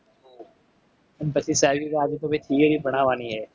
અને પછી સાહેબ એમ કેતા કે અઆજ તો ભાઈ ભણવવાની હે